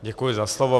Děkuji za slovo.